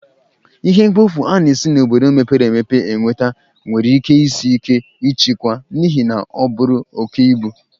Ihe mkpofu a na-esi n'obodo mepere emepe enweta nwere ike isi ike ịchịkwa n'ihi na oburu oke ibu.